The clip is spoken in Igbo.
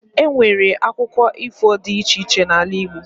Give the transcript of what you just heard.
Enwere akụkọ ifo dị iche iche n'ala igbo